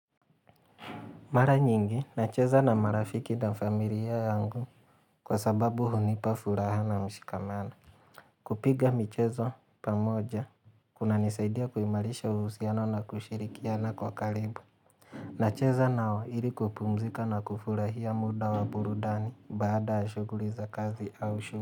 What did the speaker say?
Mara nyingi, nacheza na marafiki na familia yangu kwa sababu hunipa furaha na mshikamano. Kupiga mihezo pamoja, kunanisaidia kuimarisha uhusiano na kushirikiana kwa karibu. Nacheza nao ili kupumzika na kufurahia muda wa burudani baada ya shughuli za kazi au shu.